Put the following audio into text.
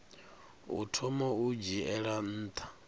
u thoma u dzhiela nha